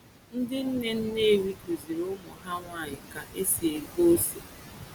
Ndị nne Nnewi kuziri ụmụ ha nwanyị ka esi egwe ose.